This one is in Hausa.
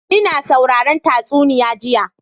Ina sauraron tatsuniya jiya.